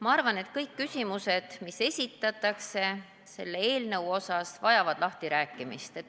Ma arvan, et kõik küsimused, mis selle eelnõu kohta esitatakse, vajavad lahtirääkimist.